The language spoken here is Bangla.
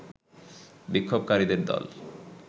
বিক্ষোভকারীদের দল